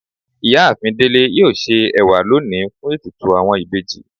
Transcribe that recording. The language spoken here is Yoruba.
Iyaafin Dele yóò se ewa loni fun etùtù awọn ìbejì